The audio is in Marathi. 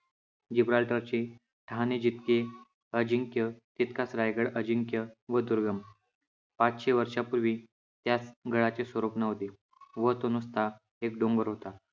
जिब्राल्टर चे ठाणे जितके अजिंक्य, तितकाच रायगड अजिंक्य व दुर्गम. पाचशे वर्षापूर्वी त्यास गडाचे स्वरूप नव्हते व तो नुसता एक डोंगर होता.